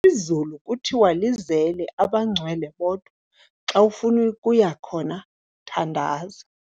Izulu kuthiwa lizele abangcwele bodwa, xa ufuna ukuya khona, thandaza.